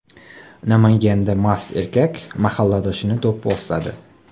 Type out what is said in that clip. Namanganda mast erkak mahalladoshini do‘pposladi.